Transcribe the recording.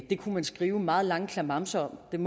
det kunne man skrive meget lange klamamser om men